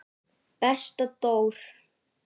Besta Dór.